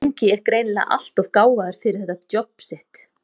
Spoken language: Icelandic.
ungi er greinilega alltof gáfaður fyrir þetta djobb sitt.